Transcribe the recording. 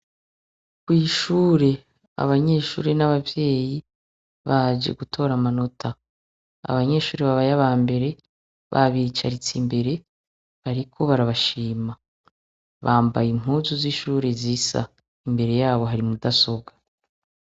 Kw'ishure ,abanyeshure n'abavyeyi baje gutora amanota. Abanyeshure babaye abambere, babicaritse imbere, bariko barabashima. Bambaye impuzu z'ishure z'isa. Imbere y'abo hari mudasobwa.